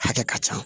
Hakɛ ka ca